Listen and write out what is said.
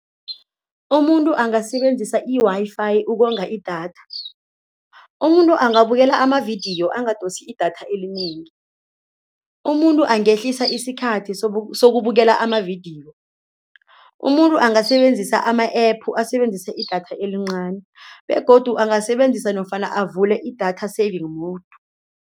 Umuntu angasebenzisa i-Wi-Fi ukonga idatha. Umuntu angabukela amavidiyo bangadosi idatha elinengi, umuntu angehlisa isikhathi sokubukela amavidiyo, umuntu angasebenzisa ama-app asebenzise i-data elincani begodu angasebenzisa nofana avule i-data saving mode.